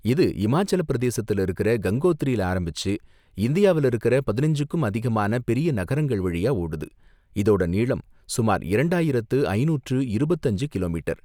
இது இமாச்சலப் பிரதேசத்துல இருக்கிற கங்கோத்ரில ஆரம்பிச்சு இந்தியாவுல இருக்குற பதினஞ்சுக்கும் அதிகமான பெரிய நகரங்கள் வழியா ஓடுது, இதோட நீளம் சுமார் இரண்டாயிரத்து ஐநூற்று இருபத்து அஞ்சு கிலோமீட்டர்.